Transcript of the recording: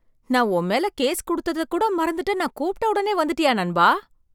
நான் உன் மேல கேஸ் குடுத்ததை கூட மறந்துட்டு நான் கூப்பிட்ட உடனே வந்துட்டியா நண்பா!